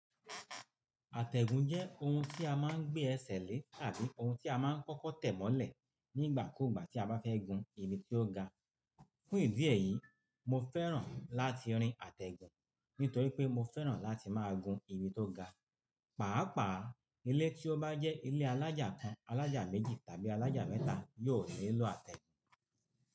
Àtẹ̀gùn jẹ́ ohun tí a máa ń gbé ẹsẹ̀ lé tàbí ohun tí a máa ń kọ́kọ́ tẹ̀ mọ́lẹ̀ nígbà kúgbà tí a bá fẹ́ gun ibi tí ó ga. Fún ìdí èyí, mo fẹ́ràn láti rin àtẹ̀gùn nítorí pé mo fẹ́ràn láti máa gun ibi tó ga. Pàápàá ilé tí ó bá jẹ́ ilé alájà kan, alájà méjì tàbí alájà mẹ́ta yóò nílò àtẹ̀gùn.